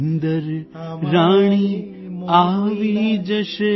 નિંદર રાણી આવી જશે